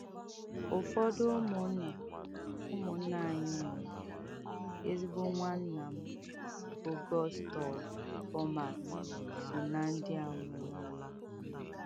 Ụfọdụ ụmụnna ụmụnna anyị nwụrụ, ezigbo nwanna m bụ́ Gustaw Baumert so ná ndị a nwụrụnụ.